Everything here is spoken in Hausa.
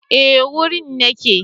Eh wurin nake